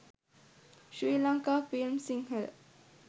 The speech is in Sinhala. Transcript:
sri lanka films sinhala